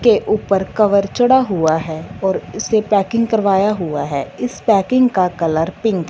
के ऊपर कवर चढ़ा हुआ है और इसे पैकिंग करवाया हुआ है इस पैकिंग का कलर पिंक --